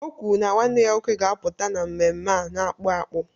O kwuru na nwanne ya nwoke ga-apụta n'ememme a n'akpụ akpụ